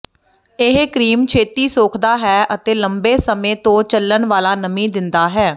ਇਹ ਕਰੀਮ ਛੇਤੀ ਸੋਖਦਾ ਹੈ ਅਤੇ ਲੰਬੇ ਸਮੇਂ ਤੋਂ ਚੱਲਣ ਵਾਲਾ ਨਮੀ ਦਿੰਦਾ ਹੈ